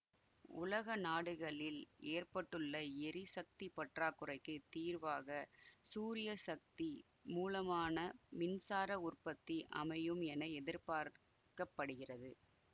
உலக நாடுகளில் ஏற்பட்டுள்ள எரிசக்தி பற்றாக்குறைக்கு தீர்வாக சூரிய சக்தி மூலமான மின்சார உற்பத்தி அமையும் என எதிர்பார்க்க படுகிறது